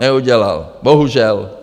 Neudělal, bohužel.